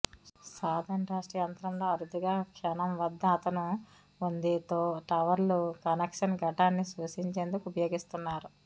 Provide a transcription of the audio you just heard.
సాధారణ రాష్ట్ర యంత్రం లో అరుదుగా క్షణం వద్ద అతను ఉంది తో టవర్లు కనెక్షన్ ఘటాన్ని సూచించేందుకు ఉపయోగిస్తున్నారు